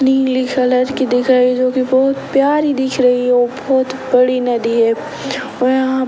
नीली खलर की दिख रही जो कि बहुत प्यारी दिख रही और भोत बड़ी नदी है और यहाँ --